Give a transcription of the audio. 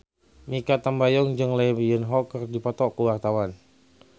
Mikha Tambayong jeung Lee Yo Won keur dipoto ku wartawan